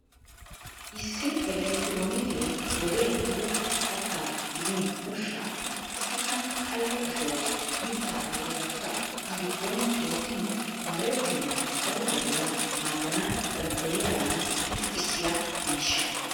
Issi elektiroonike wodee ehido kattaa gidin ushshaa qassikka qayye ashuwa mitta ayifetakka a giddon wottin moorettennan daro wodiya maaddana danddayiyadan irxxissiya miishsha.